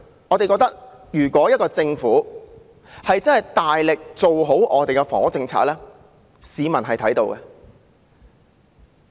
我們覺得，政府如真的大力做好房屋政策，市民是看到的。